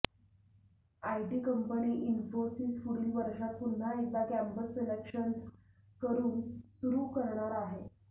IT company Infosys पुढील वर्षात पुन्हा एकदा कँपस सलेक्शन सुरू करणार आहे